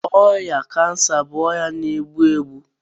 Ọrịa cancer bụ ọrịa na-egbu egbu.